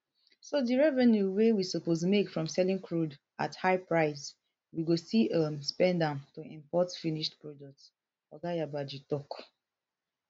so di revenue wey we suppose make from selling crude at high price we go still um spend am to import finished products oga yabagi tok